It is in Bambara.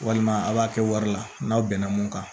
Walima a b'a kɛ wari la n'aw bɛn na mun kan